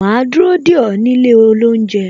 Ma dúró dè ó nílé oúnjẹ